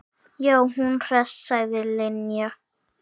Já, hún hress sagði Linja.